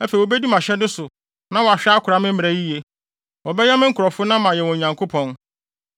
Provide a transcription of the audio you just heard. Afei wobedi mʼahyɛde so na wɔahwɛ akora me mmara yiye. Wɔbɛyɛ me nkurɔfo na mayɛ wɔn Nyankopɔn.